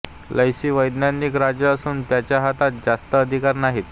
Letsie वैधानिक राजा असून त्याच्या हातात जास्त अधिकार नाहीत